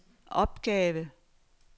opgave